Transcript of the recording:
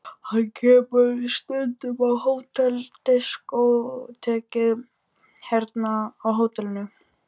Hann kemur stundum á diskótekið hérna á hótelinu.